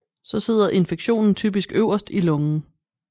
Så sidder infektionen typisk øverst i lungen